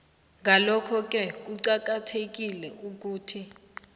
ngalokhoke kuqakathekile ukuthi